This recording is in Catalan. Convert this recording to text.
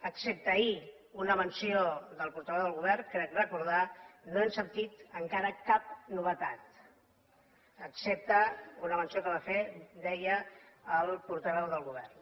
excepte ahir una menció del portaveu del govern crec recordar no hem sentit encara cap novetat excepte una menció que va fer deia el portaveu del govern